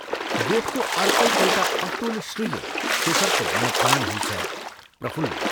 गोठको अर्कै एउटा अतुल श्रीले शेखरको मनप्राण हुन्छ प्रफुल्ल।